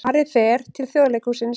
Ari fer til Þjóðleikhússins